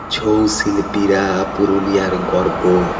ছৌ শিল্পীরা পুরুলিয়ার গর্ব।